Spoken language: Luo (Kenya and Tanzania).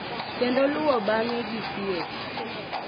Kendo luwo bang’e gi thieth.